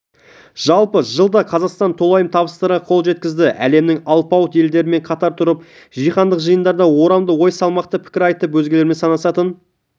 жалпы жылда қазақстан толайым табыстарға қол жеткізді әлемнің алпауыт елдерімен қатар тұрып жаһандық жиындарда орамды ой салмақты пікір айтып өзгелер санасатын